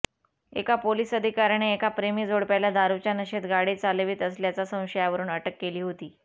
एका पोलीस अधिकाऱ्याने एका प्रेमी जोडप्याला दारुच्या नशेत गाडी चालवित असल्याच्या संशयावरुन अटक केली होती